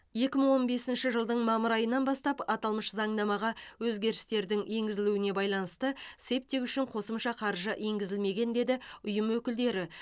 екі мың он бесінші жылдың мамыр айынан бастап аталмыш заңнамаға өзгерістердің енгізілуіне байланысты септик үшін қосымша қаржы енгізілмеген деді ұйым өкілдері